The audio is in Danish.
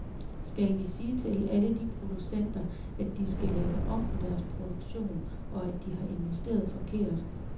Skal vi sige til alle de producenter, at de skal lave om på deres produktion, og at de har investeret forkert?